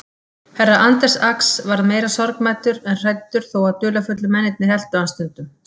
Herra Anders Ax varð meira sorgmæddur en hræddur þó að dularfullu mennirnir eltu hann stundum.